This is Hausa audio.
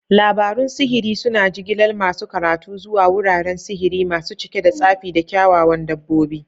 Labarun sihiri suna jigilar masu karatu zuwa wuraren sihiri masu cike da tsafi da kyawawan dabbobi.